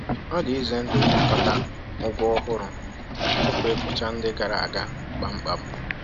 Ọ dị ize ndụ ịnakọta ụgwọ ọhụrụ tupu ịkwụcha ndị gara aga kpamkpam.